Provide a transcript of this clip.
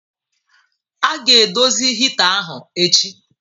A ga-edozi hita ahụ echi.